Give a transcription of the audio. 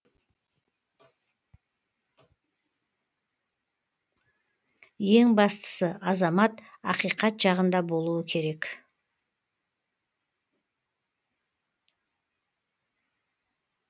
ең бастысы азамат ақиқат жағында болуы керек